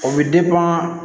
O bɛ